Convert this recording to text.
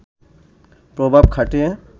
প্রভাব খাটিয়ে